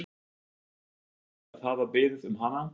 lega búinn að gleyma því að hafa beðið um hana.